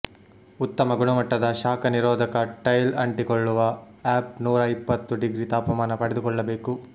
ಉತ್ತಮ ಗುಣಮಟ್ಟದ ಶಾಖ ನಿರೋಧಕ ಟೈಲ್ ಅಂಟಿಕೊಳ್ಳುವ ಅಪ್ ನೂರ ಇಪ್ಪತ್ತು ಡಿಗ್ರಿ ತಾಪಮಾನ ತಡೆದುಕೊಳ್ಳಬೇಕು